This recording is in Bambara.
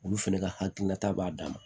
Olu fɛnɛ ka hakilina ta b'a d'an ma